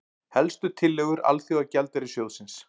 Helstu tillögur Alþjóðagjaldeyrissjóðsins